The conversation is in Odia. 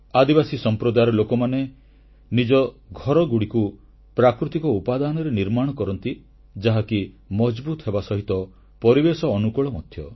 ଆଦିବାସୀ ସମ୍ପ୍ରଦାୟର ଲୋକମାନେ ନିଜ ଘରଗୁଡ଼ିକୁ ପ୍ରାକୃତିକ ଉପାଦାନରେ ନିର୍ମାଣ କରନ୍ତି ଯାହାକି ମଜଭୁତ ହେବା ସହିତ ପରିବେଶ ଅନୁକୂଳ ମଧ୍ୟ